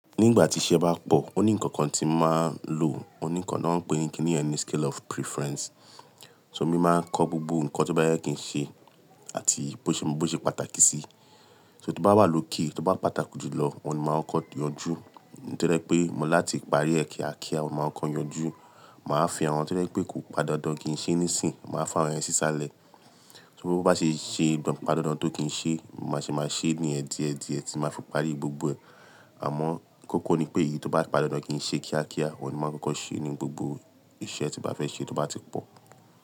Nígbà tí iṣẹ́ bá pọ̀, ó ní nǹkan kan tí máa ń lò, ó ní nǹkan náà ń pè ní kini ẹni scale of preference. So mí máa ń kọ́ gbogbo nǹkan tó bá yẹ kí n ṣe àti bó ṣe bó ṣe pàtàkì sí. So tó bá wà lókè, tó bá pàtàkù jùlọ, on ni máa ń kọ́ yanjú. Ohun to jẹ pé mo láti parí ẹ kiakia, ohun ni máa kọkọ yanjú. Máa fi àwọn tó jẹ pé kò pan dandan kí n ṣe nísìń, màá fawọ́n yẹn sísàlẹ̀. To bá ṣe ṣe pà dándan tó kí n ṣe, màá ṣe máa ṣe yén díẹ̀díẹ̀, tí màá fi parí gbogbo ẹ̀. Àmọ́ kókó ni pé èyí tó bá pà dandan kí n ṣe kíákíá, wọ́n ni máa ń kọ́kọ́ ṣe ní gbogbo iṣẹ́ tí bá fẹ́ ṣe tó bá ti pọ̀.